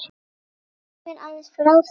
Segðu mér aðeins frá því?